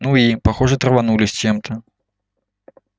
ну и похоже траванулись чем-то